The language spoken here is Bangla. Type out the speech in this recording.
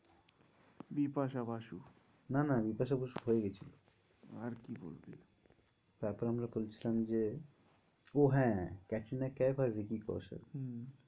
বিপাশা বাসু না না বিপাশা বসু হয়ে গিয়েছিলো আর কি বলবি? তারপর আমরা বলছিলাম যে ও হ্যাঁ ক্যাটরিনা কাইফ আর ভিকি কৌশল হম